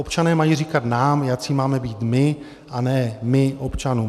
Občané mají říkat nám, jací máme být my, a ne my občanům.